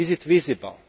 Is it visible?